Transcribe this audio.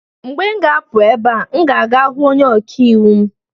Mgbe m ga-apụ ebe a, m ga-aga hụ onye ọka iwu m